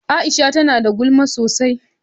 Aisha ta nada gulma sosai.